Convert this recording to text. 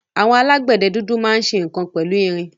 Àwọn alágbẹ̀dẹ dúdú máa ń ṣe nǹkan pẹ̀lú irin.